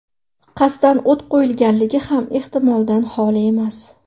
Qasddan o‘t qo‘yilganligi ham ehtimoldan xoli emas.